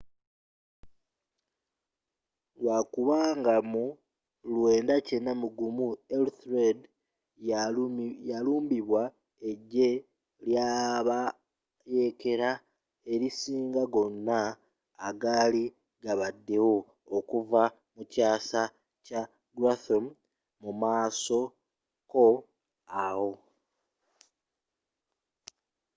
lwakubanga mu 991 ethelred yalumbibwa ejje lyabayeekela elisinga gonna egaali gabaddewo okuva mu kyasa kya guthrum mumaaso ko awo